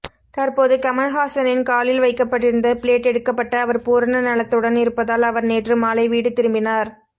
தற்போது கமல்ஹாசனின் காலில் வைக்கப்பட்டிருந்த பிளேட் எடுக்கப்பட்டு அவர் பூரண நலத்துடன் இருப்பதால் அவர் நேற்று மாலை வீடு திரும்பினார்